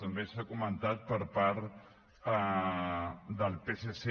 també s’ha comentat per part del psc